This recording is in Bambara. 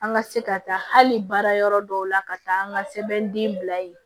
An ka se ka taa hali baara yɔrɔ dɔw la ka taa an ka sɛbɛnden bila yen